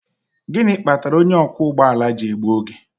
Gịnị kpatara onye ọkwọ ụgbọ ala ji egbu oge?